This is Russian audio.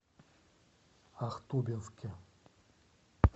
ахтубинске